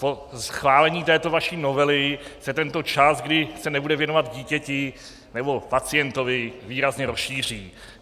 Po schválení této vaší novely se tento čas, kdy se nebude věnovat dítěti nebo pacientovi, výrazně rozšíří.